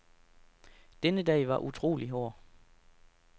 Denne dag var utrolig hård.